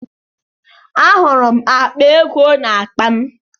Ahụrụ m akpa ego n'akpa m